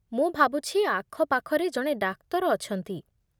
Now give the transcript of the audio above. ମୁଁ ଭାବୁଛି, ଆଖପାଖରେ ଜଣେ ଡାକ୍ତର ଅଛନ୍ତି ।